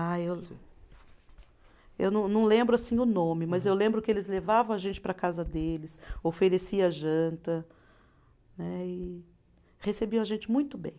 Ah, eu eu não, não lembro, assim, o nome, mas eu lembro que eles levavam a gente para a casa deles, oferecia janta, né, e recebiam a gente muito bem.